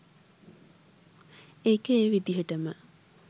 ඒක ඒ විදියටම